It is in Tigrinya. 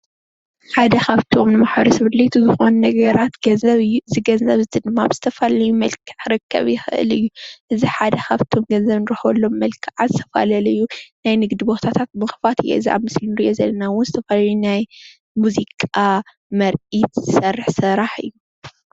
ሓደ ኻፍትም ንማሕበረሰብ ኣድለይቲ ዝበሃሉ ነገራት ገንዘብ እዩ። ገንዘብ ድማ ብዝተፈላለዩ መልክዕ ክርከብ ይኽእል እዩ። እዚ ሓድ ካፍቶም ገንዘብ መርከቢ ዝበሃሉ ነገራት ሓደ እዩ።